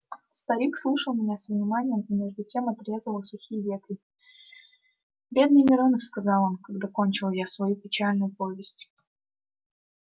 старик слушал меня со вниманием и между тем отрезывал сухие ветви бедный миронов сказал он когда кончил я свою печальную повесть